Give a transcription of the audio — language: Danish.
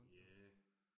Ja